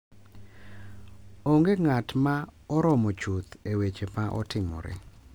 Onge ng’at ma oromo chuth e weche ma otimore,